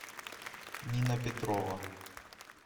нина петрова